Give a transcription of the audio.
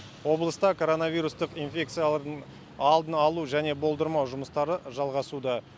облыста коронавирустық инфекциялардың алдын алу және болдырмау жұмыстары жалғасуда